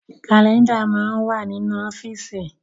Kálẹ́ndà máa ń wà nínú ọ́fíìsì